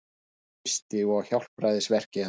Kristi og hjálpræðisverki hans.